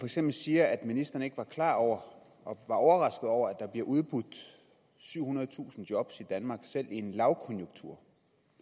eksempel siger at ministeren ikke var klar over og var overrasket over at der bliver udbudt syvhundredetusind job i danmark selv i en lavkonjunktur